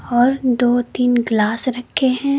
और दो तीन ग्लास रखे हैं।